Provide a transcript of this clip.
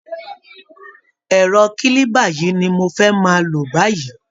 Ẹrọ kílíba yìí ni mo fẹ́ máa lò báyìí